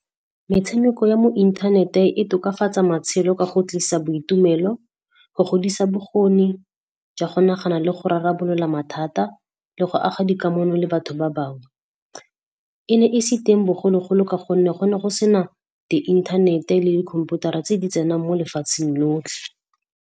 Metshameko ya mo inthanete e tokafatsa matshelo ka go tlisa boitumelo, go godisa bokgoni jwa go nagana le go rarabolola mathata le go aga dikamano le batho ba bangwe. E ne e se teng bogologolo ka gonne go ne go sena di inthanete le dikhomputara tse di tsenang mo lefatsheng lotlhe.